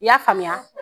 I y'a faamuya